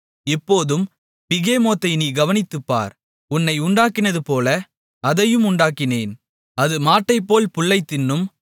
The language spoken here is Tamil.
இப்போதும் பிகெமோத்தை நீ கவனித்துப்பார் உன்னை உண்டாக்கினதுபோல அதையும் உண்டாக்கினேன் அது மாட்டைப்போல் புல்லைத் தின்னும்